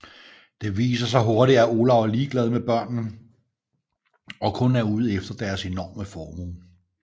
Det viser sig hurtigt at Olaf er ligeglad med børnene og kun er ude efter deres enorme formue